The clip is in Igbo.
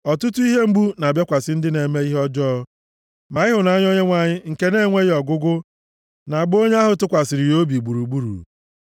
Ọtụtụ ihe mgbu na-abịakwasị ndị na-eme ihe ọjọọ, ma ịhụnanya Onyenwe anyị nke na-enweghị ọgwụgwụ, na-agba onye ahụ tụkwasịrị ya obi gburugburu.